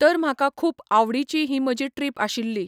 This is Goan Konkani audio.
तर म्हाका खूब आवडीची ही म्हजी ट्रीप आशिल्ली.